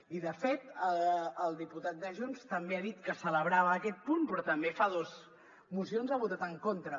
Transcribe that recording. i de fet el diputat de junts també ha dit que celebrava aquest punt però tam·bé fa dos mocions hi ha votat en contra